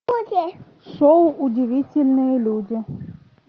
шоу удивительные люди